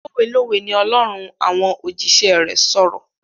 Lówé lówé ni Olórun ń àwọn òjíṣẹ́ rẹ̀ sọ̀rọ̀.